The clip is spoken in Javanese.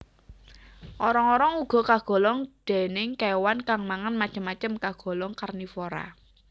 Orong orong uga kagolong déning kéwan kang mangan macem macem kagolong karnivora